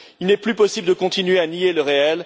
Il n'est plus possible de continuer à nier le réel.